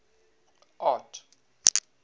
art